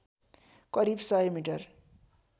करिब सय मिटर